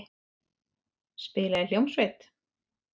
Spila í hljómsveit.